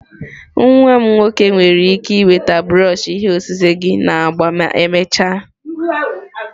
Nwa m nwoke nwere ike iweta brush ihe osise gị na agba ma emechaa.